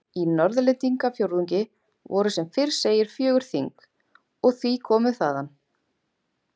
Í Norðlendingafjórðungi voru sem fyrr segir fjögur þing, og því komu þaðan